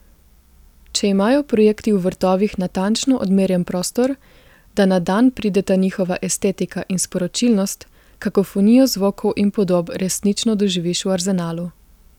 Če imajo projekti v Vrtovih natančno odmerjen prostor, da na dan prideta njihova estetika in sporočilnost, kakofonijo zvokov in podob resnično doživiš v Arzenalu.